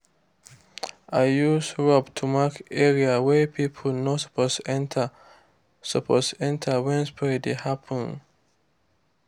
i use rope to mark area wey people no suppose enter suppose enter when spray dey happen.